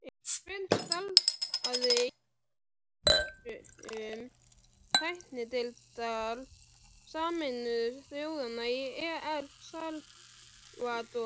Sveinn starfaði á vegum tæknideildar Sameinuðu þjóðanna í El Salvador